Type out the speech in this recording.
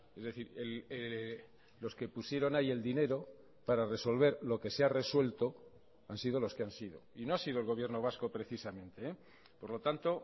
es decir los que pusieron ahí el dinero para resolver lo que se ha resuelto han sido los que han sido y no ha sido el gobierno vasco precisamente por lo tanto